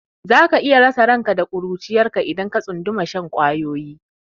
Za ka iya rasa ranka da ƙuruciyarka idan ka tsunduma shan ƙwayoyi.